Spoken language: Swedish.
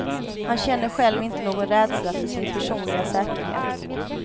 Han känner själv inte någon rädsla för sin personliga säkerhet.